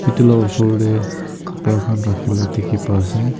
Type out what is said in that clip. Etu la osor dae kapra khan rakhi la dekhey pa ase.